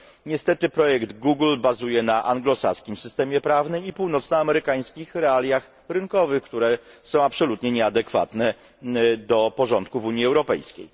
Niestety projekt Google bazuje na anglosaskim systemie prawnym i północnoamerykańskich realiach rynkowych, które są absolutnie nieadekwatne do porządku w Unii Europejskiej.